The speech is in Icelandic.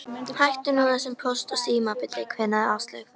Hættu þessu Póst og Síma bulli kveinaði Áslaug.